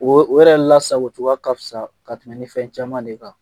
O yɛrɛ lasako cogoya ka fisa ka tɛmɛn fɛn caman de kan.